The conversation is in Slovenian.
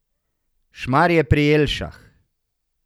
Šmarje pri Jelšah.